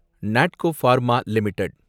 Natco pharma limited